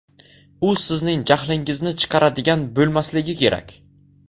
U sizning jahlingizni chiqaradigan bo‘lmasligi kerak.